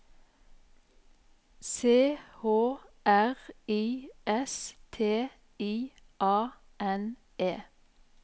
C H R I S T I A N E